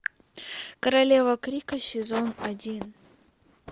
королева крика сезон один